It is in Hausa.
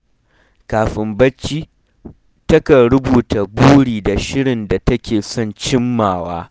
Kafin barci, takan rubuta buri da shirin da take son cimmawa.